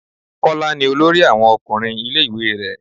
Kọ́lá ni olórí àwọn ọkùnrin ilé ìwé rẹ.